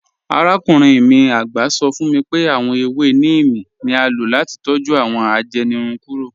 Àràkùnrin mi àgbá sọ̀ fún mí pé awọn èwé níímí ni à ló láti tọ́jú awọn ajẹ́nìrùn kúrò.